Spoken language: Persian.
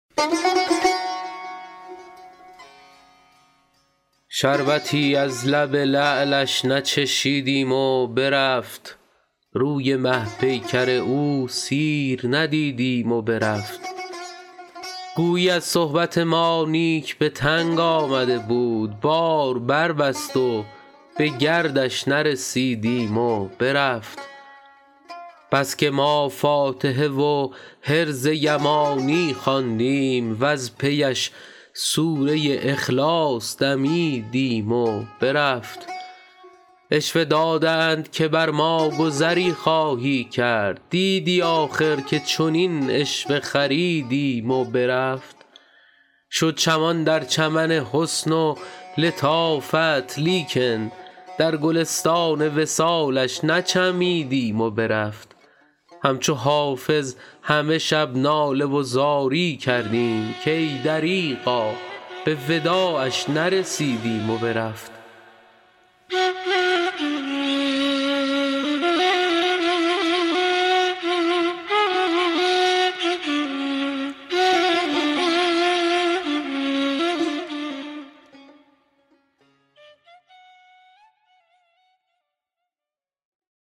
شربتی از لب لعلش نچشیدیم و برفت روی مه پیکر او سیر ندیدیم و برفت گویی از صحبت ما نیک به تنگ آمده بود بار بربست و به گردش نرسیدیم و برفت بس که ما فاتحه و حرز یمانی خواندیم وز پی اش سوره اخلاص دمیدیم و برفت عشوه دادند که بر ما گذری خواهی کرد دیدی آخر که چنین عشوه خریدیم و برفت شد چمان در چمن حسن و لطافت لیکن در گلستان وصالش نچمیدیم و برفت همچو حافظ همه شب ناله و زاری کردیم کای دریغا به وداعش نرسیدیم و برفت